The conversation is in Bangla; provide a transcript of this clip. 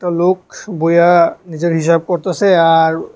লোক বইয়া নিজের হিসাব করতাসে আর--